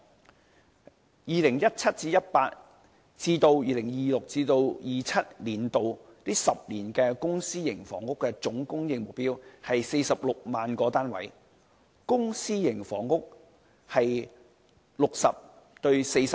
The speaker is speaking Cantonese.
在 2017-2018 年度至 2026-2027 年度的10年期間，公私營房屋總供應目標為46萬個單位，公私營房屋比例為 60：40。